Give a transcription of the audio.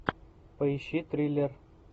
поищи триллер